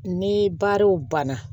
Ni baaraw banna